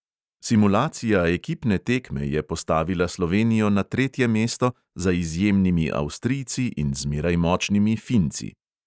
Simulacija ekipne tekme je postavila slovenijo na tretje mesto za izjemnimi avstrijci in zmeraj močnimi finci.